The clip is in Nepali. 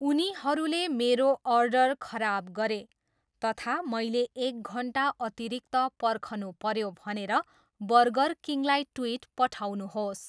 उनीहरूले मेरो अर्डर खराब गरे तथा मैले एक घन्टा अतिरिक्त पर्खनुपऱ्यो भनेर बर्गरकिङलाई ट्विट पठाउनुहोस्।